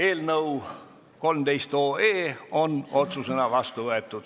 Eelnõu 13 on otsusena vastu võetud.